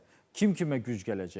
Kim kimə güc gələcək?